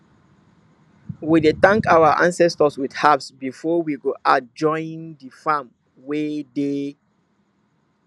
we dey thank our ancestors with herbs before we go add join the farm wey dey